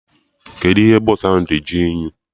Kedụ ihe bọsụ ahụ ji dị unyi?